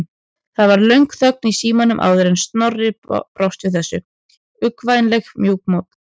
Það varð löng þögn í símanum áður en Snorri brást við þessu, uggvænlega mjúkmáll.